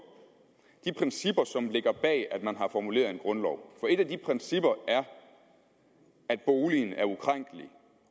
de principper som ligger bag at man har formuleret en grundlov for et af de principper er at boligen er ukrænkelig